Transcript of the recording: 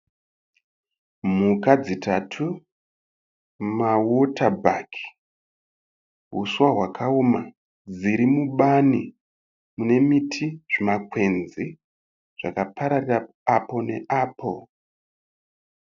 Mhuka dzitatu mawota bhaki, huswa hwakaoma dzirimubani mune miti zvimakwenzi zvakapararira apo neapo.